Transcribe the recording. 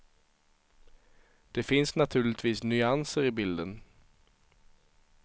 Det finns naturligtvis nyanser i bilden.